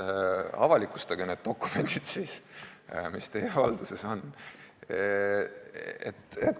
Avalikustage siis need dokumendid, mis teie valduses on!